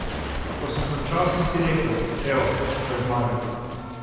Ko sem končal sem si rekel, evo, to je zmaga.